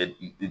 Ɛɛ